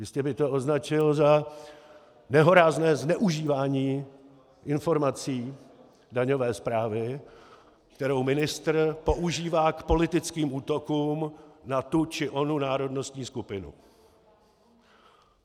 Jistě by to označil za nehorázné zneužívání informací daňové správy, kterou ministr používá k politickým útokům na tu či onu národnostní skupinu.